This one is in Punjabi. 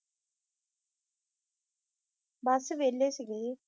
ਬੱਸ ਵੇਹਲੇ ਸੀਗੇ।